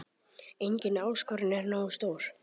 Engin áskorun er nógu stór.